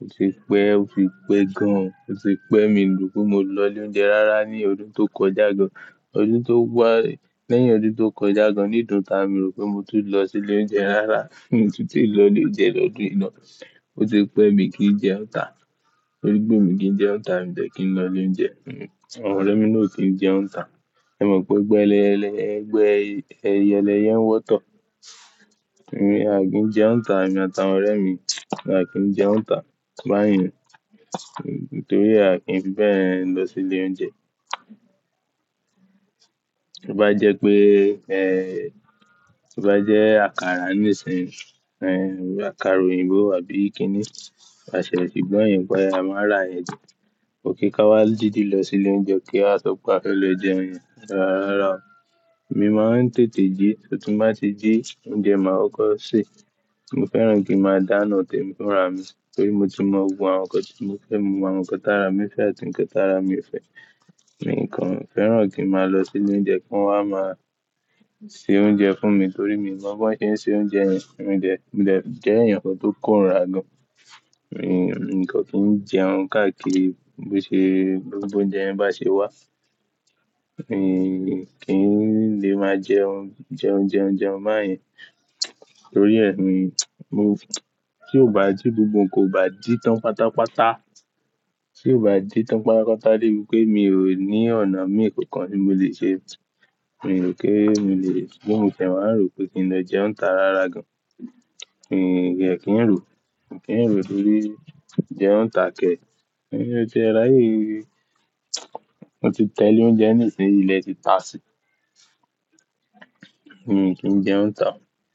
Ó ti pẹ́, ó ti pẹ́ gan. Ó ti pẹ́ mi lù ú pé mo lọ ilé oúnjẹ rara ní ọdún tó kọjá gan. Ọdún tó wá, lẹ́yìn ọdún tó kọjá gan, nídọ̀n táa mi rò pé mo tún lọ sí ilé oúnjẹ rara, mo tún ti lọ ilé jẹ lọ́dún yìí ná. Ó ti pẹ́ mi kí n jẹ́ Òǹtà. Torí pé mi ki n jẹun ǹtà, mi ò fẹ́ kí n lọ ilé oúnjẹ. Àwọn ọ̀rẹ́ mi ló kí n jẹ́ Òǹtà. Ṣẹ mọ pé gbẹ́lẹ́ ẹlẹ́, ẹgbẹ́ ẹyẹlẹ yẹn wọ́tọ̀. Èmi à kì í jẹ́ Òǹtà, èmi àt'àwọn ọ̀rẹ́ mi, à kì í jẹ́ Òǹtà báyìí. Nítorí à kì í fẹ́ bẹ́ẹ̀ lọ sí ilé oúnjẹ. To bá jẹ́ pé ẹ, bí bá jẹ́ àkàrà níìsín e, àkàrà òyìnbó àbí kí ni, à ṣẹ̀ ṣì gbọ́yìn pé a máa ra yẹn jẹ. Ó kí ká wá didi lọ sí ilé oúnjẹ ka wa sọ a lè jẹun rara. Èmi máa ń tètè jí, tí mo bá ti jí oúnjẹ máa kó sèé. Mo fẹ́ràn kí a máa dáná tẹ mí fúnra mi. Torí mo ti mọ ohun àwọn nǹkan tí mo fẹ́, mo mọ àwọn nǹkan tára mi fẹ́ àti nǹkan tára mi ò fẹ́. Mi kàn fẹ́ràn kí a máa lọ sí ilé oúnjẹ kí wọ́n máa ṣe oúnjẹ fún mi torí mi ò mọ́ báwọn ṣe ń se oúnjẹ yẹn. Mọ jẹ nkan to kòrira gaan. Mi kàn kì í jẹun káàkiri bó ṣe gbogbo oúnjẹ yẹn bá ṣe wà. Mi kì í lè máa jẹun, jẹ oúnjẹ, oúnjẹ ọ̀ máa yẹn torí ẹ́, mo, tí ó bá jí gbogbo kò bá jí tán pátápátá. Tí ó bá jí tán pátápátá dé pé mi ò ní ọ̀nà mìíràn kankan tí mo lè ṣe. Mi ò kí ń lè, bí mo fẹ́ máa mo rò pé kí n lọ jẹun nita ra rara gan. Mi ò kí ń rò, mi kẹ́ràn rò torí jẹ́ Òǹtà kẹ̀. Mi ò ti rí, mo ti tẹ ilé oúnjẹ níìsín ilẹ̀ ti tà sí. Mi ò kí n jẹ́ Òǹtà.